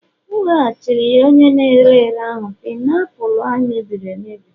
M weghachiri ya onye na-ere ere ahụ painiapulu e mebiri emebi